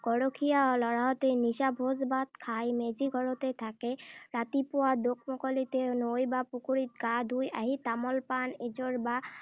গৰখীয়া ল’ৰাহঁতে নিশা ভোজ-ভাত খাই মেজি ঘৰতে থাকে। ৰাতিপুৱা দোকমোকালিতে নৈ বা পুখুৰীত গা ধুই আহি তামোল পাণ এযোৰ বা